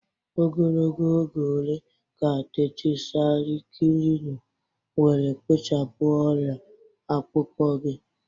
Ogologo oge ole ka Tetirasaikilinu were kpochapụ ọrịa akpụkpọ gị?